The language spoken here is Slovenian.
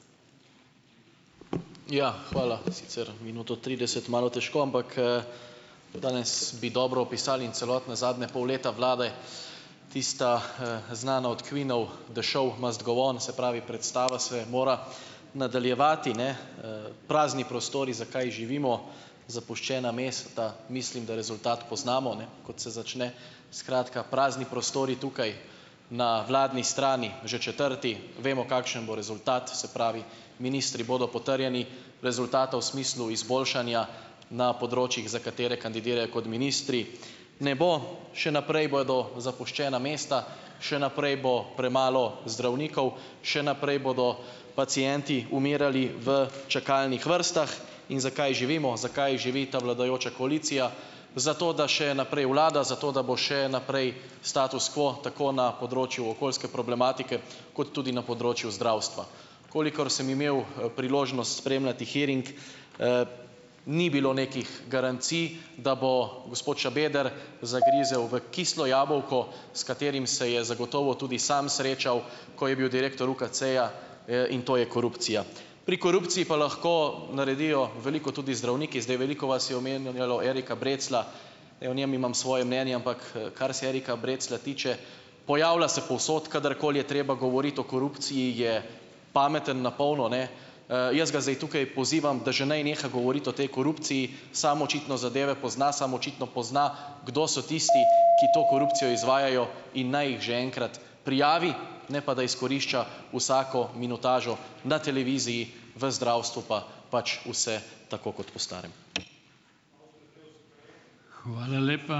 Ja, hvala. Sicer minuto trideset, malo težko, ampak, danes bi dobro opisali in celotne zadnje pol leta vlade tista, znana od Queenov The show must go on. Se pravi, predstava se mora nadaljevati, ne, Prazni prostori, zakaj živimo, zapuščena mesta mislim, da rezultat poznamo, ne, kot se začne. Skratka, prazni prostori tukaj na vladni strani - že četrti. Vemo, kakšen bo rezultat, se pravi, ministri bodo potrjeni, rezultata v smislu izboljšanja na področjih, za katere kandidirajo kot ministri, ne bo. Še naprej bodo zapuščena mesta, še naprej bo premalo zdravnikov, še naprej bodo pacienti umirali v čakalnih vrstah, in zakaj živimo, zakaj živi ta vladajoča koalicija? Zato da še naprej vlada, zato da bo še naprej status quo, tako na področju okoljske problematike kot tudi na področju zdravstva. Kolikor sem imel, priložnost spremljati hearing, ni bilo nekih garancij, da bo gospod Šabeder zagrizel v kislo jabolko, s katerim se je zagotovo tudi sam srečal, ko je bil direktor UKC-ja, in to je korupcija. Pri korupciji pa lahko naredijo veliko tudi zdravniki. Zdaj, veliko vas je omenjalo Erika Breclja. Ja, o njem imam svoje mnenje, ampak, kar se Erika Breclja tiče, pojavlja se povsod, kadarkoli je treba govoriti o korupciji, je pameten na polno, ne, jaz ga zdaj tukaj pozivam, da že naj neha govoriti o tej korupciji. Sam očitno zadeve pozna, samo očitno pozna, kdo so tisti, ki to korupcijo izvajajo , in naj jih že enkrat prijavi, ne pa da izkorišča vsako minutažo na televiziji, v zdravstvu pa pač vse tako kot po starem.